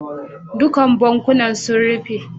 Duk bankunan sun rufe.